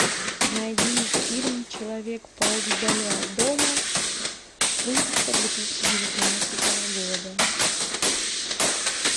найди фильм человек паук вдали от дома выпуска две тысячи девятнадцатого года